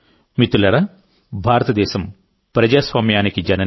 మిత్రులారా భారతదేశం ప్రజాస్వామ్యానికి జనని